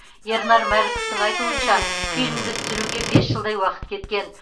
ернар мәліковтың айтуынша фильмді түсіруге бес жылдай уақыт кеткен